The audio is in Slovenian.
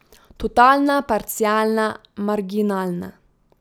Totalna, parcialna, marginalna.